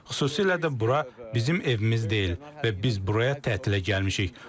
Xüsusilə də bura bizim evimiz deyil və biz buraya tətilə gəlmişik.